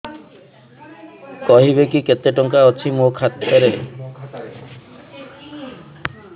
କହିବେକି କେତେ ଟଙ୍କା ଅଛି ମୋ ଖାତା ରେ